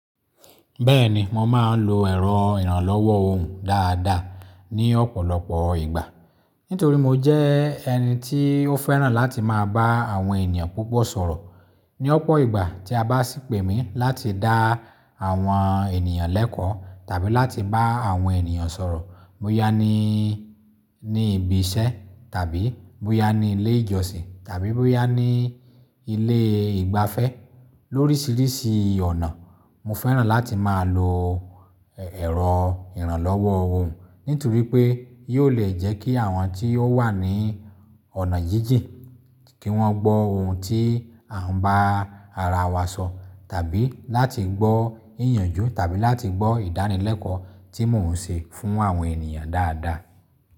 Bẹ́ẹ̀ni, mo máa ń lo ẹ̀rọ ìrànlọ́wọ́ ohùn dáadáa ní ọ̀pọ̀lọpọ̀ ìgbà. Nítorí mo jẹ́ ẹni tí ó fẹ́ràn láti máa bá àwọn ènìyàn púpọ̀ sọ̀rọ̀. Ní ọ̀pọ̀ ìgbà tí a bá sì pè mí láti dá àwọn ènìyàn lẹ́kọ̀ọ́ tàbí láti bá àwọn ènìyàn sọ̀rọ̀, bóyá ní, ní ibi iṣẹ́ tàbí bóyá ní ilé ìjọsìn tàbí bóyá ní ilé ìgbafẹ́ lóríṣiríṣi ọ̀nà, mo fẹ́ràn láti máa lo ẹ̀rọ ìrànlọ́wọ́ ohùn. Nítorí pé yóò lè jẹ́ kí àwọn tí ó wà ní ọ̀nà jíjìn kí wọ́n gbó ohun tí à ń bá ara wa sọ tàbí láti gbọ́ íyanjú tàbí láti gbọ́ ìdánilẹ́kọ̀ọ́ tí mò ń ṣe fún àwọn ènìyàn dáadáa.